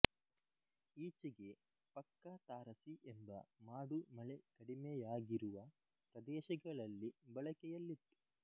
ಈಚೆಗೆ ಪಕ್ಕ ತಾರಸಿ ಎಂಬ ಮಾಡು ಮಳೆ ಕಡಿಮೆಯಾಗಿರುವ ಪ್ರದೇಶಗಳಲ್ಲಿ ಬಳಕೆಯಲ್ಲಿತ್ತು